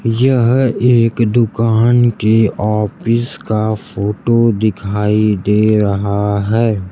यह एक दुकान के ऑफिस का फोटो दिखाई दे रहा है।